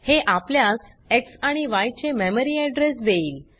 हे आपल्यास एक्स आणि य चे मेमरी एड्रेस देईल